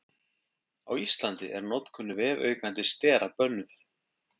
Á Íslandi er notkun vefaukandi stera bönnuð.